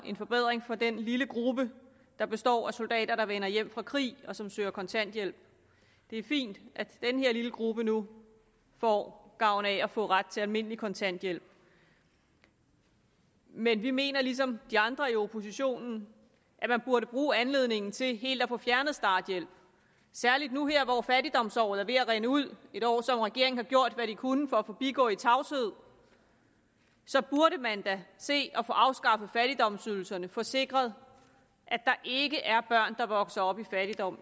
en forbedring for den lille gruppe der består af soldater der vender hjem fra krig og som søger kontanthjælp det er fint at denne lille gruppe nu får gavn af at få ret til almindelig kontanthjælp men vi mener ligesom de andre i oppositionen at man burde bruge anledningen til helt at få fjernet starthjælpen særligt nu hvor fattigdomsåret er ved at rinde ud et år som regeringen har gjort hvad de kunne for at forbigå i tavshed burde man da se at få afskaffet fattigdomsydelserne og få sikret at der ikke er børn i der vokser op i fattigdom